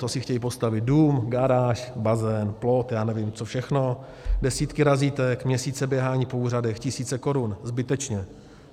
Ti si chtějí postavit dům, garáž, bazén, plot, já nevím, co všechno - desítky razítek, měsíce běhání po úřadech, tisíce korun, zbytečně.